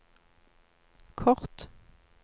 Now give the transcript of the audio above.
kort